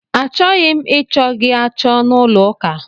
A chọghị m ị chọ gị achọ n'ụlọ ụka!